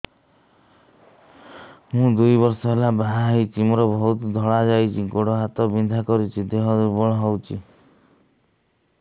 ମୁ ଦୁଇ ବର୍ଷ ହେଲା ବାହା ହେଇଛି ମୋର ବହୁତ ଧଳା ଯାଉଛି ଗୋଡ଼ ହାତ ବିନ୍ଧା କରୁଛି ଦେହ ଦୁର୍ବଳ ହଉଛି